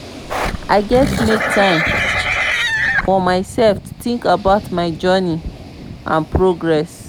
i gats make time for myself to think about my journey and progress.